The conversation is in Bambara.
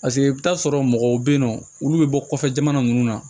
Paseke i bɛ t'a sɔrɔ mɔgɔw bɛ yen nɔ olu bɛ bɔ kɔfɛ jamana minnu na